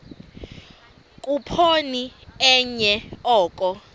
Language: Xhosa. khuphoni enye oko